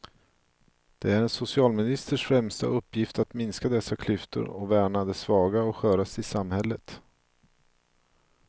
Det är en socialministers främsta uppgift att minska dessa klyftor och värna de svaga och sköraste i samhället.